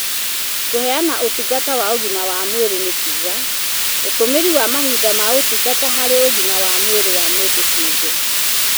Kũheana ũtungata wa ũgima wa mwĩrĩ nĩ kuuga "ũtũmĩri wa mahinda ma ũtungata harĩ ũgima wa mwĩrĩ wa mũndũ kĩũmbe